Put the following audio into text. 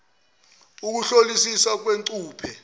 obunxantathu ukuhlolisisiwa kwengcuphe